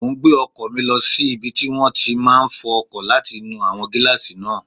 Mo n gbé ọkọ̀ mi lọ sí ibi tí wọ́n ti máa n fọ ọkọ̀ láti nu àwọn gílààsì náà